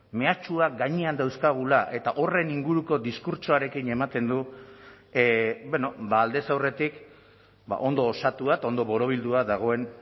mehatxuak gainean dauzkagula eta horren inguruko diskurtsoarekin ematen du beno ba aldez aurretik ondo osatua eta ondo borobildua dagoen